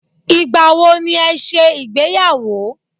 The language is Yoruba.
Ìgbà wo ni ẹ ṣe ìgbéyàwó?